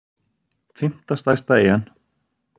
fimmta stærsta eyjan